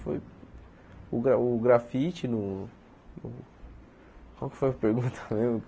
Foi o gra o grafite no... Qual é que foi a pergunta mesmo?